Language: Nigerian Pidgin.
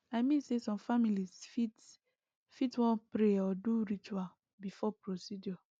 i mean say some families fit fit wan pray or do ritual before procedure